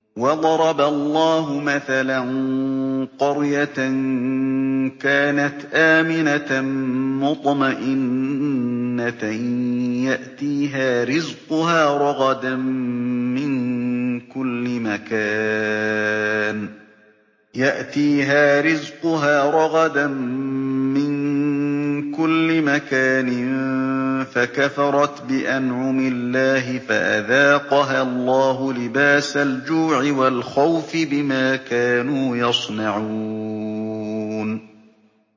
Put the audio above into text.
وَضَرَبَ اللَّهُ مَثَلًا قَرْيَةً كَانَتْ آمِنَةً مُّطْمَئِنَّةً يَأْتِيهَا رِزْقُهَا رَغَدًا مِّن كُلِّ مَكَانٍ فَكَفَرَتْ بِأَنْعُمِ اللَّهِ فَأَذَاقَهَا اللَّهُ لِبَاسَ الْجُوعِ وَالْخَوْفِ بِمَا كَانُوا يَصْنَعُونَ